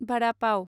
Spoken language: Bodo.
भादा पाव